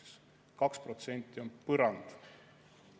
Ehk 2% on põrand.